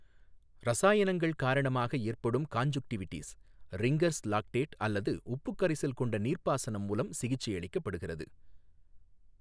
இரசாயனங்கள் காரணமாக ஏற்படும் கான்ஜுன்க்டிவிடிஸ், ரிங்கர்ஸ் லாக்டேட் அல்லது உப்பு கரைசல் கொண்ட நீர்ப்பாசனம் மூலம் சிகிச்சையளிக்கப்படுகிறது.